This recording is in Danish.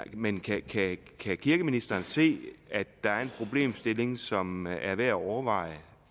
men kan kan kirkeministeren se at der er en problemstilling som er værd at overveje